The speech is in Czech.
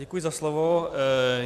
Děkuji za slovo.